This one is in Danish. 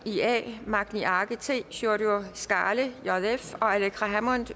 magni arge sjúrður skaale